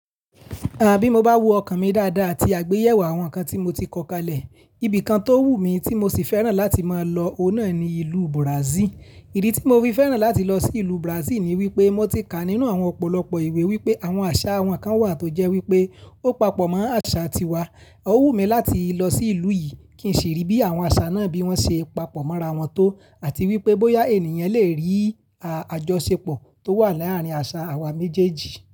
Àbí mo bá wo ọkàn mi dáadáa ti àgbéyẹ̀wò àwọn ǹkan tí mo ti kọ́ kalẹ̀, ibìkan tó wù mí tí mo sì fẹ́ràn láti máa lọ onáà ni ìlú Brazil. Ìdí tí mo fi fẹ́ràn láti lọ sí ìlú Brazil ni wípé mo ti kà nínú àwọn ọ̀pọ̀lọpọ̀ ìwé wípé àwọn àṣà àwọn kan wà tó jẹ́ wípé ó papọ̀ mọ́ àṣà tiwa. Ó wù mí láti lọ sí ìlú yìí kí n sì rí bí àwọn àṣà náà bí wọ́n ṣe papọ̀ mọ́ra wọn tó àti wípé bóyá ènìyàn lè rí àjọṣepọ̀ tó wà láàárín àṣà àwa méjèèjì.